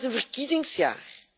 Dit jaar is een verkiezingsjaar.